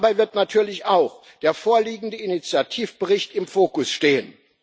Dabei wird natürlich auch der vorliegende Initiativbericht im Fokus stehen.